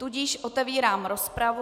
Tudíž otevírám rozpravu.